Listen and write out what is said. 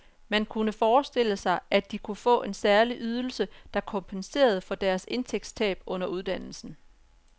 Man kunne forestille sig, at de kunne få en særlig ydelse, der kompenserede for deres indtægtstab under uddannelsen.